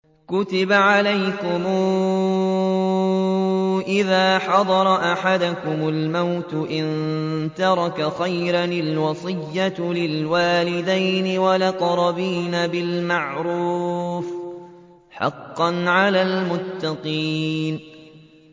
كُتِبَ عَلَيْكُمْ إِذَا حَضَرَ أَحَدَكُمُ الْمَوْتُ إِن تَرَكَ خَيْرًا الْوَصِيَّةُ لِلْوَالِدَيْنِ وَالْأَقْرَبِينَ بِالْمَعْرُوفِ ۖ حَقًّا عَلَى الْمُتَّقِينَ